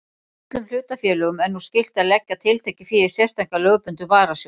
Öllum hlutafélögum er nú skylt að leggja tiltekið fé í sérstakan lögbundinn varasjóð.